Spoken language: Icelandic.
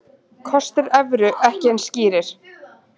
Kostir evru ekki eins skýrir